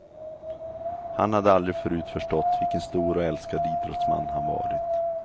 Han hade aldrig förut förstått vilken stor och älskad idrottsman han varit.